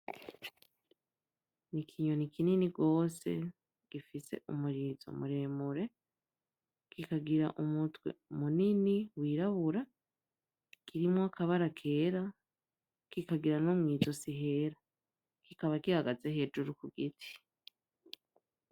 N'ikintu kinini gose gifise umurizo muremure, kikagira umutwe munini wirabura kirimwo akabara kera, kikagira no mw'izosi hera, kikaba gihagaze hejuru ku giti.